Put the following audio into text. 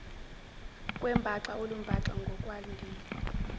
kwembaxa olumbaxa ngokwandile